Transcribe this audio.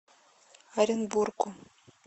оренбургу